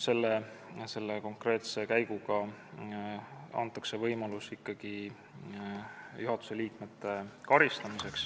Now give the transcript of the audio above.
Selle konkreetse käiguga antakse võimalus ikkagi juhatuse liikmeid karistada.